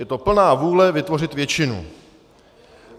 Je to plná vůle vytvořit většinu.